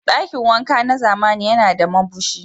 Dakin wanka na zamani yana a Mabushi.